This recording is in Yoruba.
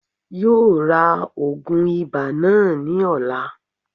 Yóò ra ògùn ibà náà ní ọ̀la